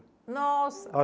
Nossa!